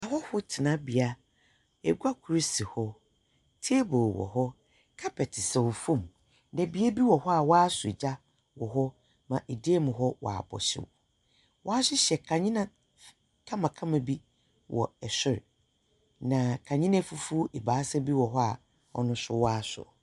Ahɔho tsenabea, egua kor si hɔ, table wɔ hɔ, carpet saw fam. Na bea bi wɔ hɔ a wɔasɔ gya wɔ hɔ ma dan mu abɔ hyew. Wɔahyehyɛ f kandzea kamakama bi wɔ sor, na kandzea efufuw ebiasa bi wɔ hɔ a no so wɔasosɔ.